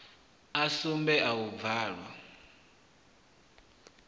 a sumbe a u bvalwa